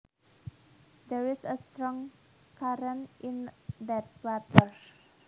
There is a strong current in that water